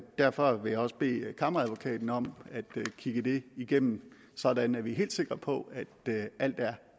derfor vil jeg også bede kammeradvokaten om at kigge det igennem sådan at vi er helt sikre på at alt er